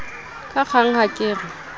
ka kgang ha ke re